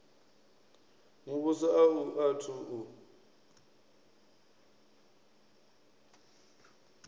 muvhuso a u athu u